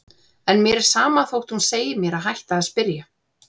En mér er sama þótt hún segi mér að hætta að spyrja.